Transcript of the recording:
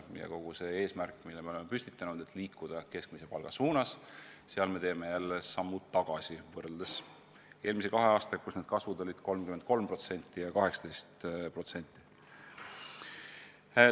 Me püstitasime eesmärgi liikuda keskmise palga suunas, aga nüüd teeme sammu tagasi võrreldes eelmise kahe aastaga, mil treenerite palk kasvas vastavalt 33% ja 18%.